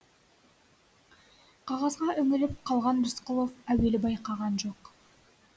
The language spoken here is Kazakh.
қағазға үңіліп қалған рысқұлов әуелі байқаған жоқ